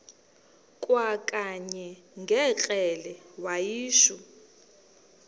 kwakanye ngekrele wayishu